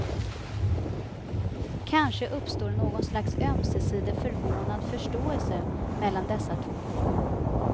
Kanske uppstår någon slags ömsesidig förvånad förståelse mellan dessa två.